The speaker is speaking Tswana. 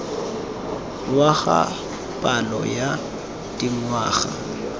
wa ga palo ya dingwaga